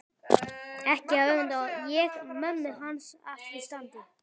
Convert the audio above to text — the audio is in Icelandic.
Ekki öfunda ég mömmu hans af því standi